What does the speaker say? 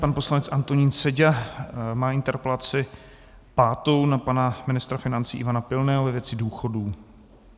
Pan poslanec Antonín Seďa má interpelaci pátou na pana ministra financí Ivana Pilného ve věci důchodů.